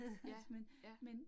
Ja, ja